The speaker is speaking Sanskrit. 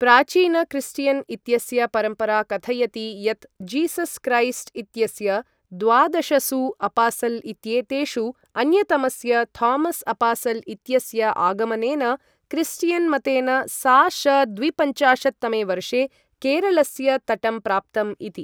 प्राचीन क्रिस्टियन् इत्यस्य परम्परा कथयति यत् जीसस् क्रैस्ट् इत्यस्य द्वादशसु अपासल् इत्येतेषु अन्यतमस्य थामस् अपासल् इत्यस्य आगमनेन, क्रिस्टियन् मतेन सा.श.द्विपञ्चाशत् तमे वर्षे केरलस्य तटं प्राप्तम् इति।